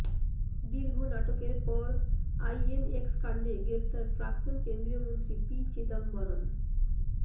দীর্ঘ নাটকের পর আইএনএক্স কাণ্ডে গ্রেফতার প্রাক্তণ কেন্দ্রীয় মন্ত্রী পি চিদম্বরম